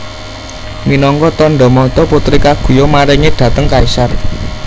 Minangka tandha mata Putri Kaguya maringi dhateng kaisar